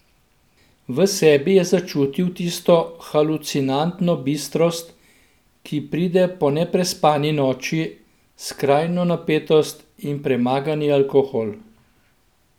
V sebi je začutil tisto halucinantno bistrost, ki pride po neprespani noči, skrajno napetost in premagani alkohol.